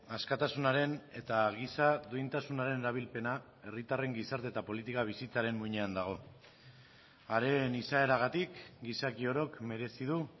askatasunaren eta giza duintasunaren erabilpena herritarren gizarte eta politika bizitzaren muinean dago haren izaeragatik gizaki orok merezi du